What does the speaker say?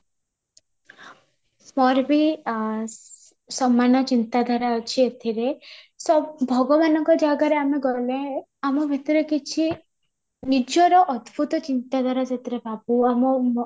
ମୋର ବି ଆଁ ସମାନ ଚିନ୍ତା ଧାରା ଅଛି ଏଥିରେ ସବୁ ଭଗବାନଙ୍କ ଜାଗାରେ ଆମେ ଗଲେ ଆମ ଭିତରେ କିଛି ନିଜର ଅଦ୍ଭୁତ ଚିନ୍ତା ଧାରା ସେଥିରେ ଭାବୁ ଆମ